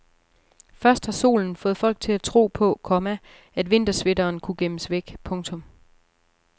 Først har solen fået folk til at tro på, komma at vintersweateren kunne gemmes væk. punktum